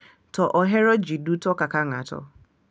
To ohero ji duto kaka ng’ato.